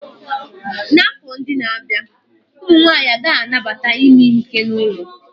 N'afọ ndị na-abịa, ụmụ nwanyị agaghị anabata ime ihe ike n'ụlọ